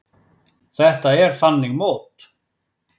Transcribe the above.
Þetta er þannig mót.